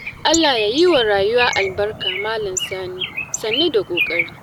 Allah ya yi wa rayuwa albarka Malam Sani, sannu da ƙoƙari.